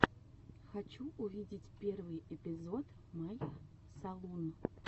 хочу увидеть первый эпизод май салун